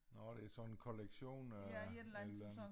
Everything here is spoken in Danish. Nå det sådan en kollektion af et eller andet